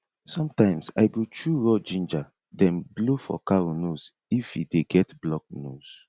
sometimes i go chew raw ginger then blow for cow nose if e dey get blocked nose